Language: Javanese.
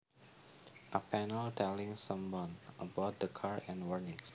A panel telling someone about the car and warnings